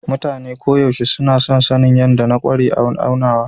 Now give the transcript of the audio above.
Mutane koyaushe suna son sanin yadda na ƙware a aunawa.